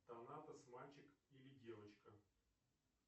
донатос мальчик или девочка